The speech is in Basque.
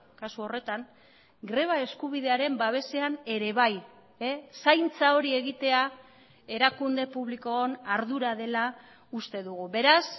kasu horretan greba eskubidearen babesean ere bai zaintza hori egitea erakunde publikoon ardura dela uste dugu beraz